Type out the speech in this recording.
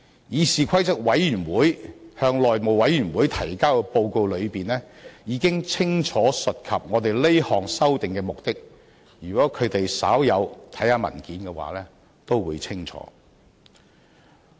議事規則委員會向內務委員會提交的報告中，已經清楚述及我們這項修訂的目的，如果他們稍有看過文件也會清楚。